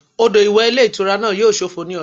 Odò ìwẹ̀ ilé ìtura náà yíò sófo ní ọ̀la